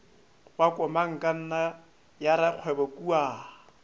wa komangkanna ya rakgwebo kua